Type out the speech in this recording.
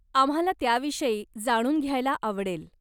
आम्हाला त्याविषयी जाणून घ्यायला आवडेल.